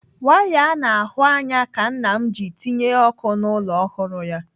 Waya a na-ahụ anya ka nna m ji tinye ọkụ n'ụlọ ọhụrụ ya.